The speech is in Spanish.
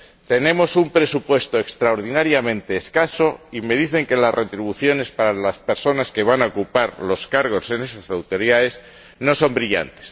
tenemos un presupuesto extraordinariamente escaso y me dicen que las retribuciones para las personas que van a ocupar los cargos en esas autoridades no son brillantes.